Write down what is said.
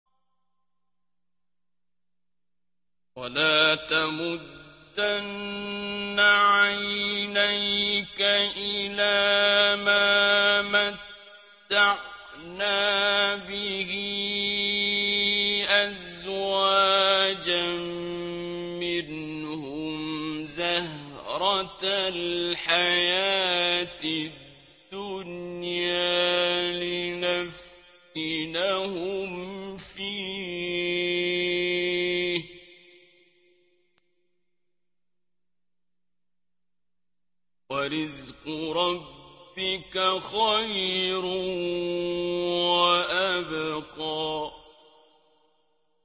وَلَا تَمُدَّنَّ عَيْنَيْكَ إِلَىٰ مَا مَتَّعْنَا بِهِ أَزْوَاجًا مِّنْهُمْ زَهْرَةَ الْحَيَاةِ الدُّنْيَا لِنَفْتِنَهُمْ فِيهِ ۚ وَرِزْقُ رَبِّكَ خَيْرٌ وَأَبْقَىٰ